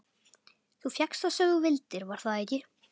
Þú fékkst það sem þú vildir, var það ekki?